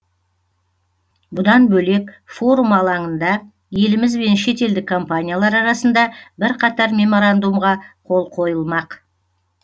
бұдан бөлек форум алаңында еліміз бен шетелдік компаниялар арасында бірқатар меморандумға қол қойылмақ